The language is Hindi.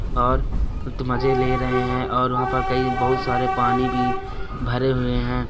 और ये तो मज़े ले रहे हैं और वहाँ पर कई बहुत सारे पानी भी भरे हुए हैं।